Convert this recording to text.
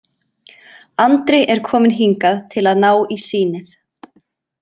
Andri er kominn hingað til að ná í sýnið.